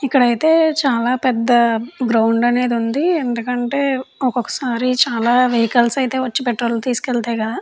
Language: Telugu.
ఇక్కడైతే చాలా పెద్ద గ్రౌండ్ అనేది ఉంది. ఎందుకంటే ఒక్కొక్కసారి చాలా వెహికల్స్ అయితే వచ్చి పెట్రోల్ తీసుకెళ్తాయి.